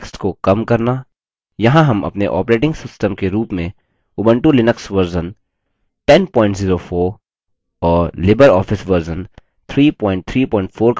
यहाँ हम अपने ऑपरेटिंग सिस्टम के रूप में उबंटु लिनक्स version 1004 और लिबरऑफिस version 334 का उपयोग कर रहे हैं